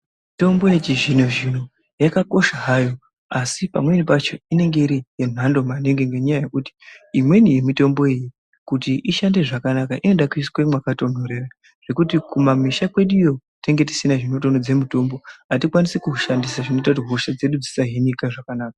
Mitombo yechizvino-zvino yakakosha hayo, asi pamweni pacho inonga iri yemhando maningi, ngenyaya yekuti, imweni yemitombo iyi kuti ishande zvakanaka inoda kuiswa mwakatonthorera. Zvekuti kumamisha kweduyo tinenge tisina zvinotonhodza mitombo, hatikwanisi kuushandisa zvinoita kuti hosha dzedu dzisahinika zvakanaka.